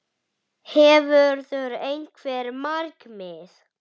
Boði: Hefurðu einhver markmið?